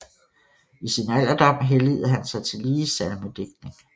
I sin alderdom helligede han sig tillige til salmedigtning